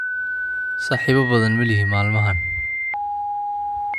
Saaxiibo badan ma lihi maalmahan